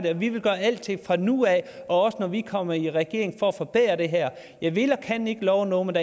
at vi vil gøre alting fra nu af og også når vi kommer i regering for at forbedre det jeg vil og kan ikke love noget men